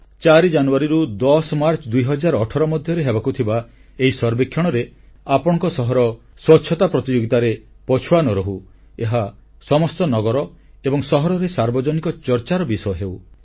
4 ଜାନୁଆରୀରୁ 10 ମାର୍ଚ୍ଚ 2018 ମଧ୍ୟରେ ହେବାକୁ ଥିବା ଏହି ସର୍ବେକ୍ଷଣରେ ଆପଣଙ୍କ ସହର ସ୍ୱଚ୍ଛତା ପ୍ରତିଯୋଗିତାରେ ପଛୁଆ ନ ରହୁ ଏହା ସମସ୍ତ ନଗର ଏବଂ ସହରରେ ସାର୍ବଜନିକ ଚର୍ଚ୍ଚାର ବିଷୟ ହେଉ